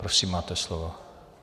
Prosím, máte slovo.